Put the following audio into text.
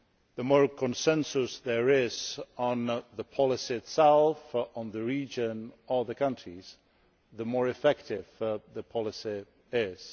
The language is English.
The more consensus there is on the policy itself, on the region or the countries, the more effective the policy